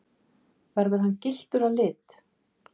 Verður hann gylltur að lit